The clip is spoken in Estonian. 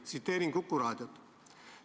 Ma tsiteerin nüüd Kuku raadiot.